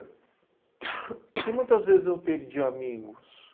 E muitas vezes eu perdi amigos.